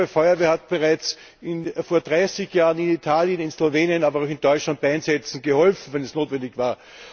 Meine Feuerwehr hat bereits vor dreißig Jahren in Italien, in Slowenien, aber auch in Deutschland bei Einsätzen geholfen, wenn es notwendig war.